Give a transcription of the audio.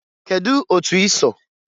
Kedụ otu i so?